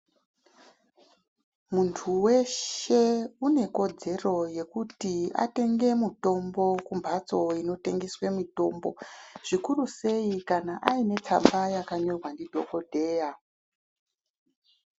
Muntu weshe une ikodzero yekuti atenge mutombo kumphatso inotengeswe mitombo ,zvikuru sei kana aine tsamba yakanyorwa ndidhokodheya.